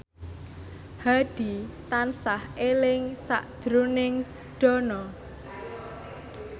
Hadi tansah eling sakjroning Dono